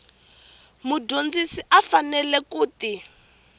mudyondzi a faneleke ku ti